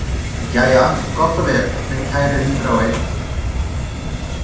Jæja, gott og vel, minn kæri hundraðogeinn.